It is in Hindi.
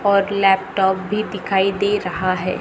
और लैपटॉप भी दिखाई दे रहा है।